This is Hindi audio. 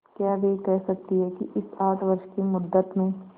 क्या वे कह सकती हैं कि इस आठ वर्ष की मुद्दत में